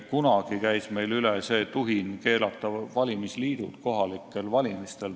Kunagi käis meil üle see tuhin keelata valimisliidud kohalikel valimistel.